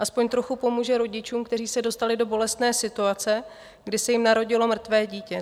Alespoň trochu pomůže rodičům, kteří se dostali do bolestné situace, kdy se jim narodilo mrtvé dítě.